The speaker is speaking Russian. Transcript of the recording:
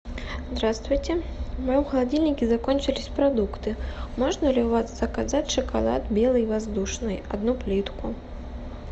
здравствуйте в моем холодильнике закончились продукты можно ли у вас заказать шоколад белый воздушный одну плитку